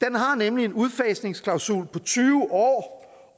den har nemlig en udfasningsklausul på tyve år